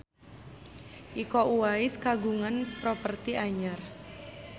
Iko Uwais kagungan properti anyar